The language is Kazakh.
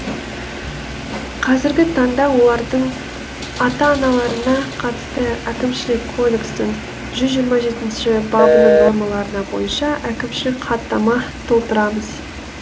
қазіргі таңда олардың ата аналарына қатысты әкімшілік кодекстің жүз жиырма жетінші бабының нормаларына бойынша әкімшілік хаттама толтырамыз